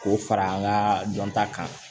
K'o fara an ka dɔnta kan